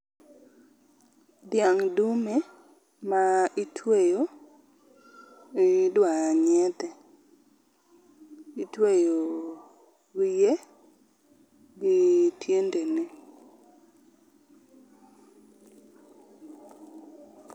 Dhiang dume ma itweyo, idwa nyiedhe, itweyo wiye gi tiendene